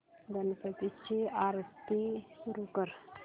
गणपती ची आरती सुरू कर